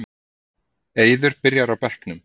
Eiður byrjar á bekknum